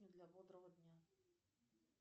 для бодрого дня